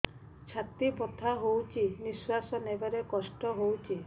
ଛାତି ବଥା ହଉଚି ନିଶ୍ୱାସ ନେବାରେ କଷ୍ଟ ହଉଚି